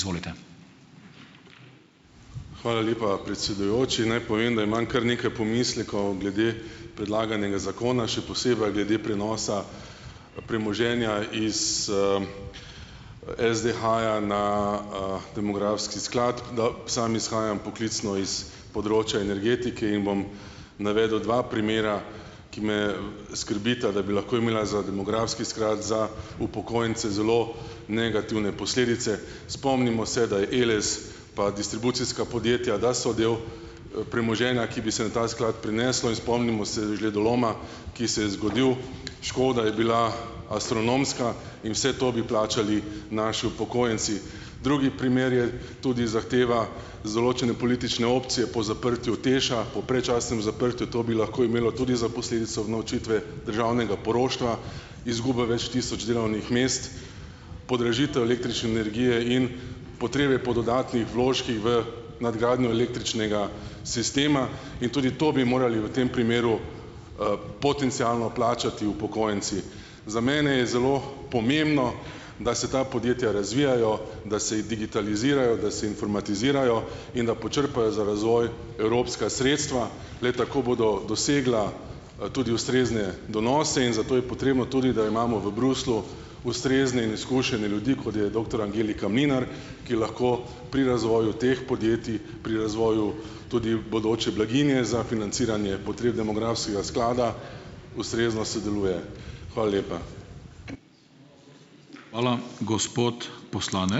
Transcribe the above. Hvala lepa, predsedujoči. Naj povem, da imam kar nekaj pomislekov glede predlaganega zakona, še glede prenosa premoženja iz, SDH-ja na, demografski sklad. Da, sam izhajam poklicno iz področja energetike in bom navedel dva primera, ki me, skrbita, da bi lahko imela za demografski sklad za upokojence zelo negativne posledice. Spomnimo se, da je Eles, pa distribucijska podjetja, da so del, premoženja, ki bi se na ta sklad prineslo. In spomnimo se žledoloma, ki se je zgodil. Škoda je bila astronomska in vse to bi plačali naši upokojenci. Drugi primer je tudi zahteva iz določene politične opcije po zaprtju TEŠ-a, po predčasnem zaprtju. To bi lahko imelo tudi za posledico unovčitve državnega poroštva, izgube več tisoč delovnih mest, podražitev električne energije in potrebe po dodatnih vložkih v nadgradnjo električnega sistema. In tudi to bi morali v tem primeru, potencialno plačati upokojenci. Za mene je zelo pomembno, da se ta podjetja razvijajo, da se digitalizirajo, da se informatizirajo in da počrpajo za razvoj evropska sredstva. Le tako bodo dosegla, tudi ustrezne donose in zato je potrebno tudi, da imamo v Bruslju ustrezne in izkušene ljudi, kot je doktor Angelika Mlinar, ki lahko pri razvoju teh podjetij, pri razvoju tudi bodoče blaginje za financiranje potreb demografskega sklada ustrezno sodeluje. Hvala lepa.